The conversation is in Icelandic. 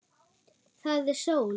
Það er sól.